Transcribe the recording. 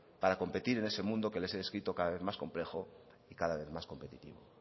para competir en ese mundo que les he descrito cada vez más complejo y cada vez más competitivo